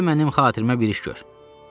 Gəl mənim xatirimə bir iş gör.